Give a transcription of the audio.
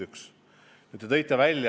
See oli punkt üks.